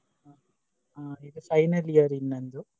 ಈಗ final year ನಂದು.